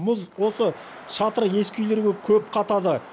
мұз осы шатыры ескі үйлерге көп қатады